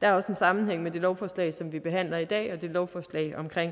der er også en sammenhæng mellem det lovforslag som vi behandler i dag og det lovforslag omkring